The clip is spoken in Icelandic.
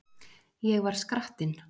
Ég var skrattinn.